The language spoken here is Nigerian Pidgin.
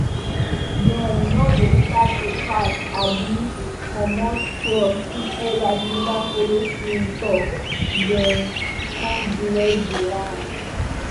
dem no dey start to pack abi comot crops if elders never follow spirits talk then con bless the land